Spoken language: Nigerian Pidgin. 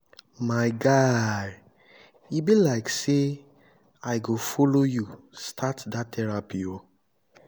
my guy e be like say i go follow you start therapy oo